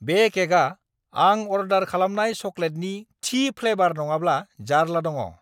बे केकआ आं अर्डार खालामनाय चकलेटनि थि फ्लेवार नङाब्ला जार्ला दङ!